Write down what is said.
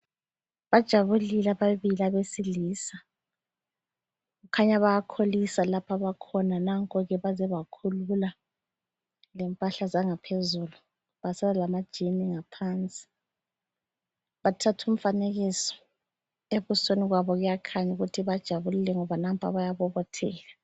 Bajabulile ababili abesilisa kukhanya bayakholisa lapho abakhona nanko ke baze bakhulula lempahla zangaphezulu basala lamajean ngaphansi. Bathatha umfanekiso, ebusweni babo kuyakhanya ukuthi bajabulile ngoba nampa bayabobotheka.